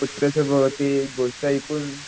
वर गोष्ट ऐकून